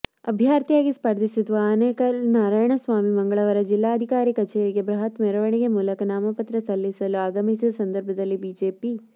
ಅಭ್ಯರ್ಥಿಯಾಗಿ ಸ್ಪರ್ಧಿಸಿರುವ ಅನೇಕಲ್ ನಾರಾಯಣಸ್ವಾಮಿ ಮಂಗಳವಾರ ಜಿಲ್ಲಾಧಿಕಾರಿ ಕಚೇರಿಗೆ ಬೃಹತ್ ಮೆರವಣಿಗೆ ಮೂಲಕ ನಾಮಪತ್ರ ಸಲ್ಲಿಸಲು ಆಗಮಿಸಿದ ಸಂದರ್ಭದಲ್ಲಿ ಬಿಜೆಪಿ